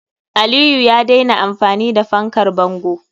Aliyu ya daina amfani da fankar bango.